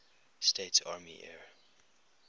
states army air